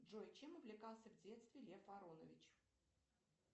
джой чем увлекался в детстве лев аронович